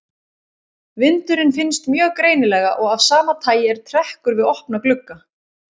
Vindurinn finnst mjög greinilega og af sama tagi er trekkur við opna glugga.